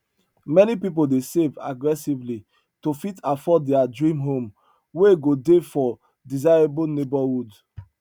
many pipu dey save aggressively to fit afford their dream home wey go dey for desirable neighborhood